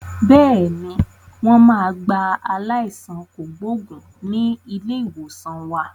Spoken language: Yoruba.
Bẹ́ẹ̀ni, wọn máa gba aláìsàn kògbógùn ni ilé ìwòsàn wa.